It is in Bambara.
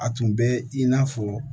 A tun bɛ i n'a fɔ